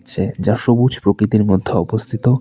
যা সবুজ প্রকৃতির মধ্যে অবস্থিত।